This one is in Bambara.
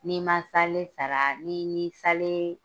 N'i ma salen sara ni ni salen